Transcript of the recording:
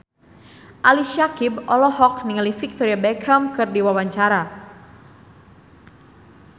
Ali Syakieb olohok ningali Victoria Beckham keur diwawancara